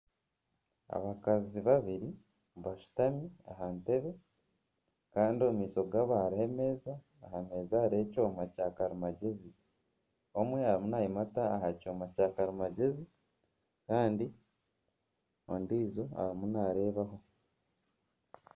Abakazi babiri bashutami aha ntebbe Kandi omumaisho gaabo hariho emeeza ahameeza hariho ekyoma kya karimagyezi omwe ariyo nayimata aha kyoma kya karimagyezi Kandi ondiijo arimu nareebaho.